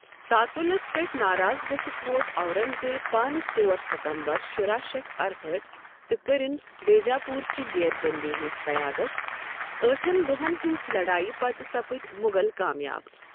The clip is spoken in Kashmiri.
تعطُلس پٮ۪ٹھ ناراض گٔژھتھ ووت اورنگزیب پانہٕ ژور ستمبر شُراہ شتھ ارہأٹھ تہٕ کٔرٕن بیجاپور چہِ گیرٕ بٔنٛدی ہنٛز قیادت، ٲٹھن دوہن ہنزِ لڈایہِ پتہٕ سپٕدۍ مو٘غل كامیاب ۔